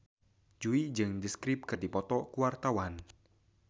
Jui jeung The Script keur dipoto ku wartawan